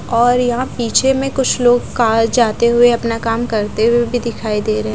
और यहाँ पीछे में कुछ लोग काल जाते हुए अपना काम करते हुए भीं दिखाई दे रहें--